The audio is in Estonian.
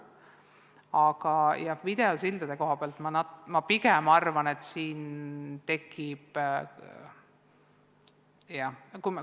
Aga jah, ma arvan, et videosillaga võib tekkida probleeme.